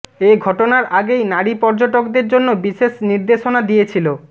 এ ঘটনার আগেই নারী পর্যটকদের জন্য বিশেষ নির্দেশনা দিয়েছিল